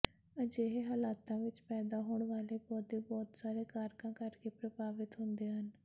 ਅਜਿਹੇ ਹਾਲਾਤਾਂ ਵਿਚ ਪੈਦਾ ਹੋਣ ਵਾਲੇ ਪੌਦੇ ਬਹੁਤ ਸਾਰੇ ਕਾਰਕਾਂ ਕਰਕੇ ਪ੍ਰਭਾਵਿਤ ਹੁੰਦੇ ਹਨ